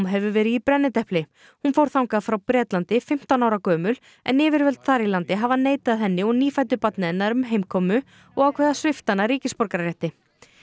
hefur verið í brennidepli hún fór þangað frá Bretlandi fimmtán ára gömul en yfirvöld þar í landi hafa neitað henni og nýfæddu barni hennar um heimkomu og ákveðið að svipta hana ríkisborgararétti